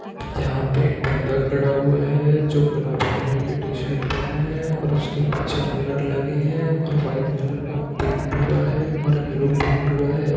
यहाँ पे एक बंदा खड़ा हुआ है। जो गुलाबी कलर की टीशर्ट पहनें है। और उसके पीछे मिरर लगे हैं। और वाइट कलर का पेन्ट हुआ है और यलो पेन्ट हुआ हैं।